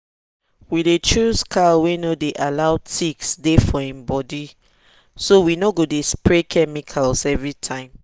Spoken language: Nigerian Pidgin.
we dey choose cow wey no dey allow ticks deh for em body so we no go dey spray chemical every time.